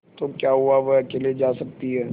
तो क्या हुआवह अकेले जा सकती है